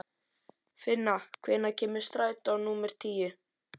Finna, hvenær kemur strætó númer níu?